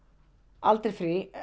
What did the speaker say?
aldrei frí